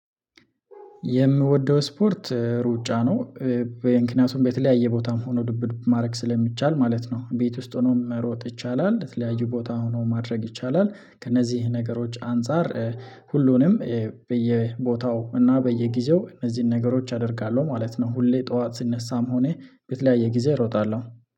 የምወደው ስፖርት እሩጫ ነው። በየምክንያቱም በተለያዩ ቦታም ሆኖ ዱብዱብ ማድረግ ስለሚቻል ማለት ነው ቤት ውስጥ ሆኖ መሮጥ ይቻላል የተለያዩ ቦታ ሆኖ ማድረግ ይቻላል ከነዚህ ነገሮች አንፃር። ሁሉንም በየቦታው እና በየጊዜው እነዚህን ነገሮች አደርጋለሁ ማለት ነው። ሁሌ ጠዋት ስነሳም ሆኔ በተለያየ ጊዜ እሮጣለሁ